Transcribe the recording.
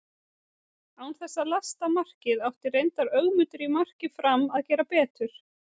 Án þess að lasta markið átti reyndar Ögmundur í marki Fram að gera betur.